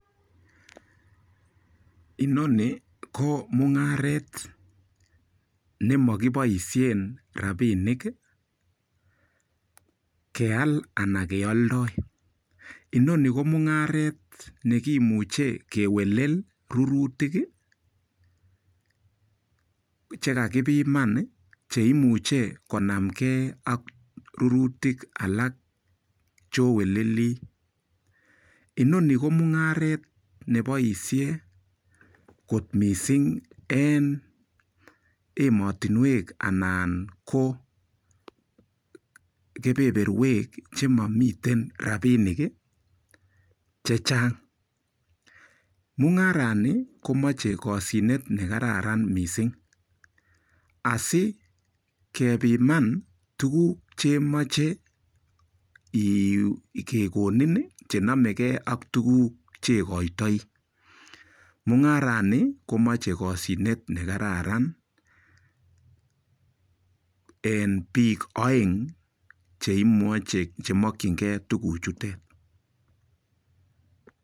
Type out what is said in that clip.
Inoni ko mung'aret nemakiboishen rapinik keal anan keoldoi inoni ko mung'aret nekimuche kelewen rurutik chekakipiman cheimuche konamkei ak rurutik alak choweleli inoni ko mung'aret neboishe kot missing en emotinwek anan ko kebeberwek chemamiten rapinik che chang mung'arani komochei koshinet nekararan mising asikepiman tukuk chemoche kekonin chenomeke ak tukuk chekoitoi.